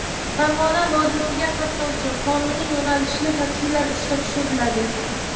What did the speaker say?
Farg‘ona vodiysiga qatnovchi qonuniy yo‘nalishli taksilar ishga tushiriladi.